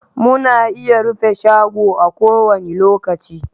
Muna iya rufe shago a kowani lokaci